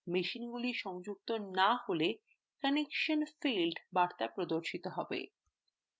মেশিনগুলি সংযুক্ত না হলে connection failed বার্তা প্রদর্শিত হবে